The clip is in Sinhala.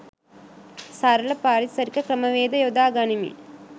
සරල පරිසරික ක්‍රම වේද යොදා ගනිමින්